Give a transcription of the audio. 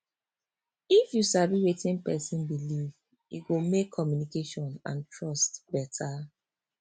if you sabi wetin person believe e go make communication and trust better